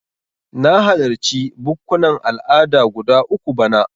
Na halarci bukkunan al'ada guda uku bana.